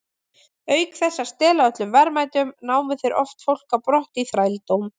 Auk þess að stela öllum verðmætum, námu þeir oft fólk á brott í þrældóm.